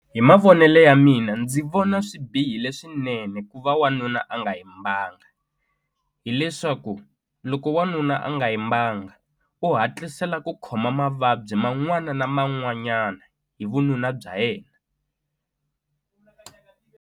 Hi mavonele ya mina ndzi vona swi bihile swinene ku va wanuna a nga yimbanga hileswaku loko wanuna a nga yimbanga u hatlisela ku khoma mavabyi man'wana na man'wanyani hi vununa bya yena.